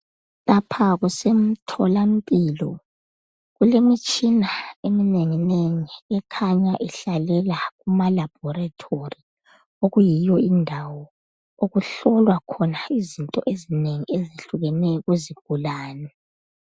Lapha kusemtholampilo kulemitshina eminenginengi ekhanya ihlalela kumalabhoretori okuyiyo indawo okuhlolwa khona izinto ezinengi ezihlukeneyo kuzigulane.